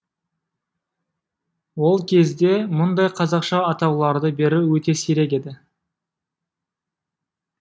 ол кезде мұндай қазақша атауларды беру өте сирек еді